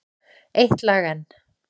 Eitt lag enn.